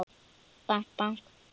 Bank, bank.